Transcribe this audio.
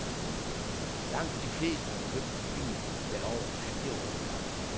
Langt de fleste har købt en bil, der er over fire år gammel.,